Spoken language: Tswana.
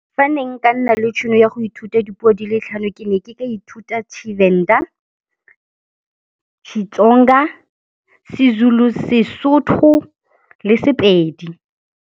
Fa ne nka nna le tšhono ya go ithuta dipuo di le tlhano ke ne ke ka ithuta Tshivenda, Xitsonga, seZulu, Sesotho le Sepedi.